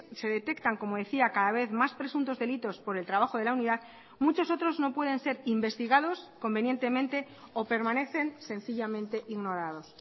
se detectan como decía cada vez más presuntos delitos por el trabajo de la unidad muchos otros no pueden ser investigados convenientemente o permanecen sencillamente ignorados